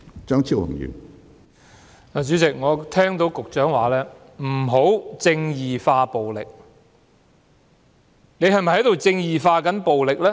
主席，我聽到局長說"不要'正義化'暴力"，他是否正在"正義化"暴力呢？